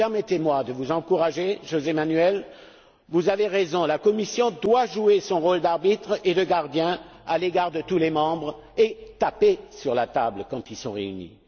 Permettez moi de vous encourager, José Manuel, vous avez raison, la Commission doit jouer son rôle d'arbitre et de gardien à l'égard de tous les membres et taper sur la table quand ils sont réunis.